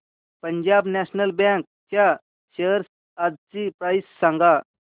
Punjab National Bank च्या shares आजची price सांगा